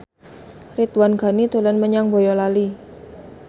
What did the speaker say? Ridwan Ghani dolan menyang Boyolali